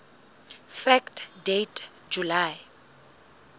fact date july